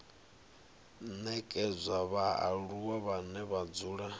nekedzwa vhaaluwa vhane vha dzula